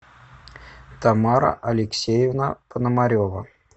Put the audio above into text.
тамара алексеевна пономарева